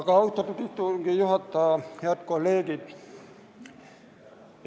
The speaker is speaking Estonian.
Aga, austatud istungi juhataja ja head kolleegid!